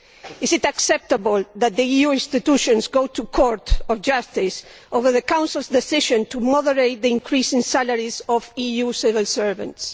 Is it acceptable that the EU institutions go to the Court of Justice over the Council's decision to moderate the increase in salaries of EU civil servants?